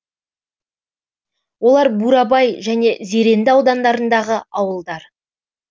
олар бурабай және зеренді аудандарындағы ауылдар